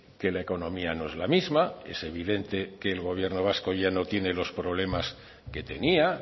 que la economía no es la misma es evidente que el gobierno vasco ya no tiene los problemas que tenía